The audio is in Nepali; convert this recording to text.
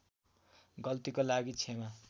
गल्तीको लागि क्षमा